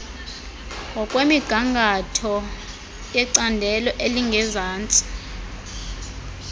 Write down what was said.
ngokwemiqathango yecandelo elingezantsi